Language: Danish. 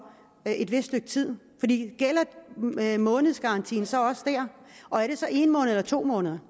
et vist stykke tid gælder månedsgarantien så også der og er det så en måned eller to måneder